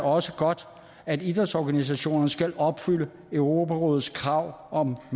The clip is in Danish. også godt at idrætsorganisationerne skal opfylde europarådets krav om at